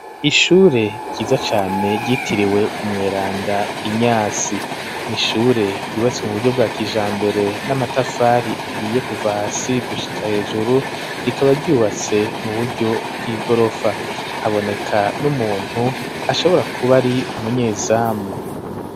ishure ryiza cane ryitiriwe umweranda inyasi, n'ishure ryubatse mu buryo bwa kijambere n'amatafari ahiye kuva hasi gushika hejuru, rikaba ryubatse mu buryo bw'igorofa, haboneka n'umuntu ashobora kuba ari umunyezamu.